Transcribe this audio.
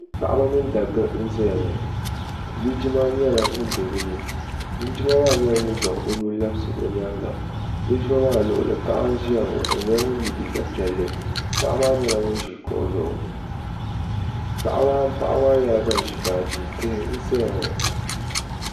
Paɣaba mini dabba n zɛya ŋɔ linjima nyɛla ŋuni bɛ bi ni linjima maa nyɛla ŋuni zaŋ o nuu labisi o yɛanga linjima maa luɣuli paɣa n ziya ŋɔ o nyɛla ŋuni ŋuni ye liiga piɛlli paɣa maa nyɛla ŋuni zi kuɣu zuɣu paɣaba maa nyɛla bani zi baaji tihi n saya ŋɔ.